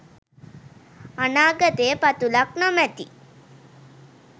අනාගතය පතුලක් නොමැති